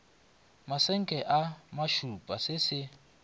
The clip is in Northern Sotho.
masenke a mašupa se se